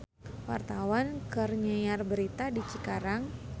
Wartawan keur nyiar berita di Cikarang